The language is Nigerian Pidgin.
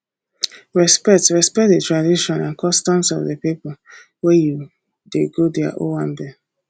respect respect di tradition and customs of di pipo wey you dey go their owambe